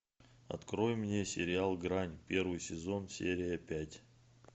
открой мне сериал грань первый сезон серия пять